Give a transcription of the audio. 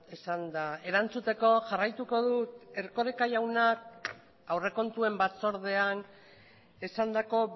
esanda erantzuteko jarraituko dut erkoreka jaunak aurrekontuen batzordean esandako